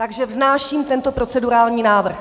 Takže vznáším tento procedurální návrh.